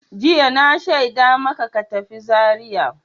Jiya na shaida maka ka tafi Zariya!